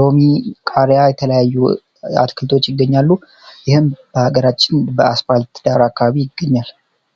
ሎሚ ቃሪያ የተለያዩ አትክልቶች ይገኛሉ ይህም በሀገራችን በአስባልት ዳር አካባቢ ይገኛል።